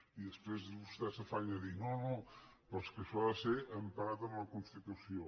i després vostè s’afanya a dir no no però és que això ha de ser emparat en la constitució